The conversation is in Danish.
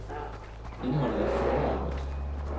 Indholdet af fluor er højt.